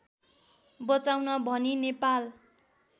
बचाउन भनी नेपाल